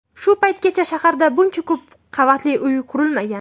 Shu paytgacha shaharda buncha ko‘p qavatli uy qurilmagan.